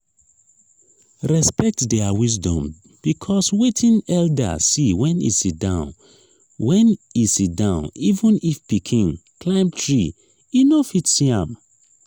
respect their wisdom because wetin elder see when e sitdown when e sitdown even if pikin climb tree e no fit see am